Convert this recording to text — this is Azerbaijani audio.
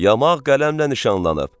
Yamaq qələmlə nişanlanıb.